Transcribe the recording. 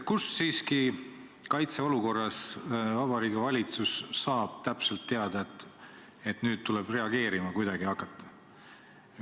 Kust siiski kaitseolukorras Vabariigi Valitsus saab täpselt teada, et nüüd tuleb kuidagi reageerima hakata?